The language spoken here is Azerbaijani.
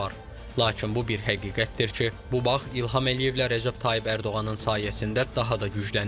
Lakin bu bir həqiqətdir ki, bu bağ İlham Əliyevlə Rəcəb Tayyib Ərdoğanın sayəsində daha da güclənib.